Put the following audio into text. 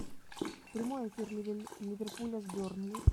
прямой эфир ливерпуля с бернли